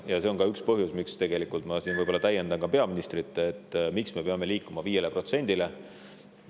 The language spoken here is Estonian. Ja see on ka üks põhjus, miks ma täiendan peaministrit, miks me peame liikuma 5%‑le.